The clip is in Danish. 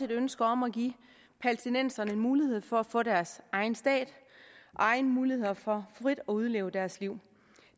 ønske om at give palæstinenserne en mulighed for at få deres egen stat og egne muligheder for frit at udleve deres liv